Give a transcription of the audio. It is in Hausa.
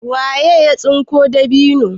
waye ya tsinko dabino?